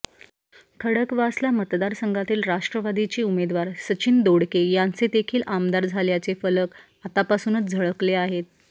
खडकवासला मतदारसंघातील राष्ट्रवादीचे उमेदवार सचिन दोडके यांचे देखील आमदार झाल्याचे फलक आतापासूनच झळकले आहेत